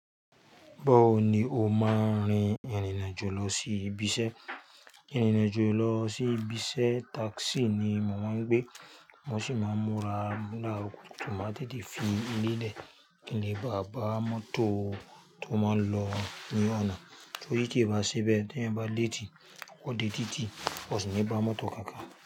Báwo ni o máa ń rin ìrìnrin àjò lọ sí ibiṣẹ́? Ìrìnrin àjò lọ sí ibi iṣẹ́ táxi ni mo màá ń gbé, mo sì máa ń múra láàrọ̀ kùtùkùtù máa dìídì fi ì ilé lé kín lè bàa bá mọ́tò tó máa ń lọ ní ọ̀nà. Torí tí ẹ bá ṣebẹ̀ tí ẹ̀eyan bá léétì, o dé títí, o sì ní bá mọ́tò kankan.